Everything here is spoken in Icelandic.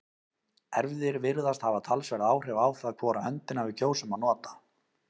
erfðir virðast hafa talsverð áhrif á það hvora höndina við kjósum að nota